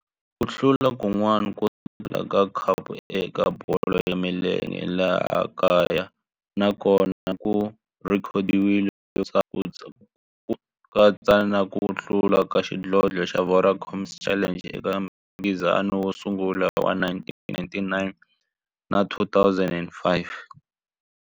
Ku hlula kun'wana ko tala ka khapu eka bolo ya milenge ya laha kaya na kona ku rhekhodiwile, ku katsa na ku hlula ka xidlodlo xa Vodacom Challenge eka mphikizano wo sungula wa 1999 na 2005.